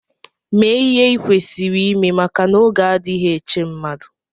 Mee ihe i kwesịrị ime maka n'oge adịghị eche mmadụ!